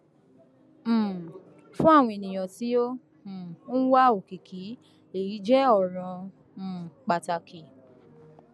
um fún àwọn ènìyàn tí ó um ń wá òkìkí èyí jẹ ọràn um pàtàkì